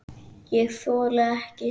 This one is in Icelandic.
ÉG ÞOLI EKKI